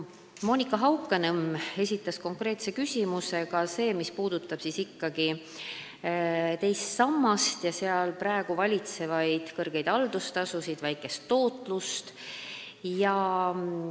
Monika Haukanõmm esitas konkreetse küsimuse, mis puudutas teise samba puhul kehtivaid suuri haldustasusid ja fondide väikest tootlust.